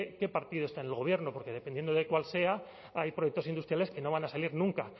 qué partido está en el gobierno porque dependiendo de cuál sea hay proyectos industriales que no van a salir nunca